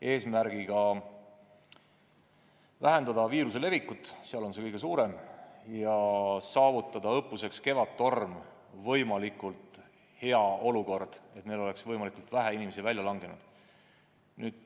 Eesmärk on vähendada viiruse levikut seal, kus see oht on kõige suurem, ja saavutada õppuseks Kevadtorm võimalikult hea olukord, et meil oleks võimalikult vähe inimesi välja langenud.